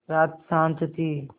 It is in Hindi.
रात शान्त थी